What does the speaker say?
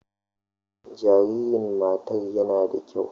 Jaririn matar yana da kyau.